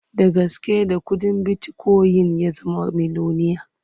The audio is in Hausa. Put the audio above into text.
Da gaske da kuɗin bitikoyin ya zama miloniya.